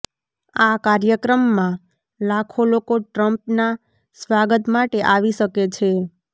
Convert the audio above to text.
આ કાર્યક્રમમાં લાખો લોકો ટ્રમ્પના સ્વાગત માટે આવી શકે છે